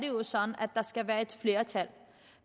jo sådan at der skal være et flertal